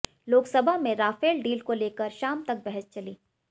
लोकसभा में Rafale deal को लेकर शाम तक बहस चली